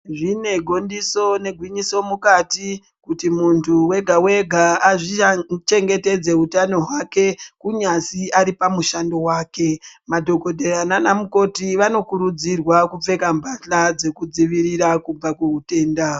Zvine gondiso negwinyiso mukati kuti muntu wega wega zvichengetedze utano hwake kunyazi aripamushando wake madhokodheya nanamukoti vanokurudzirwa kupfeka mbahla dzekudzivirira kubva kuhutenda.